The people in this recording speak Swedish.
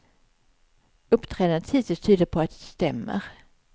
Uppträdandet hittills tyder på att det stämmer.